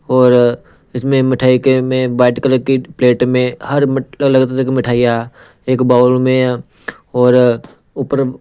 और इसमें मिठाई के में वाइट कलर की प्लेट में हर अलग तरह की मिठाइयां एक बाउल में और ऊपर।